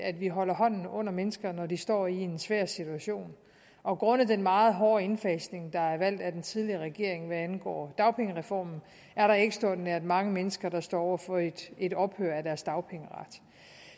at vi holder hånden under mennesker når de står i en svær situation og grundet den meget hårde indfasning der blev valgt af den tidligere regering hvad angår dagpengereformen er der ekstraordinært mange mennesker der står over for et et ophør af deres dagpengeret